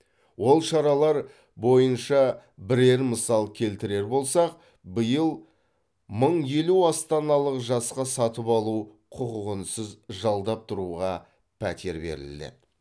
ол шаралар бойынша бірер мысал келтірер болсақ биыл мың елу астаналық жасқа сатып алу құқығынсыз жалдап тұруға пәтер беріледі